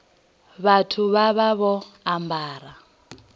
vhathu vha vha vho ambara